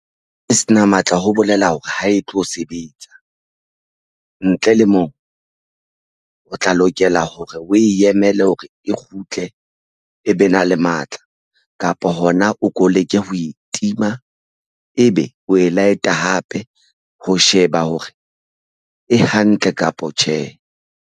E sena matla ho bolela hore ha e tlo sebetsa ntle le moo o tla lokela hore o emele hore e kgutle e be na a le matla kapa hona, o ko leke ho e tima ebe o e light-a hape ho sheba hore e hantle kapa tjhe.